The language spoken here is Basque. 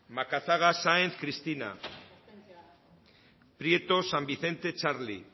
macazaga sáenz cristina prieto san vicente txarli